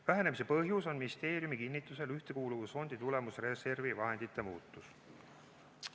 Vähenemise põhjus on ministeeriumi kinnitusel Ühtekuuluvusfondi tulemusreservi vahendite muutus.